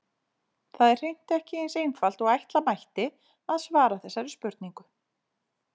Það er hreint ekki eins einfalt og ætla mætti að svara þessari spurningu.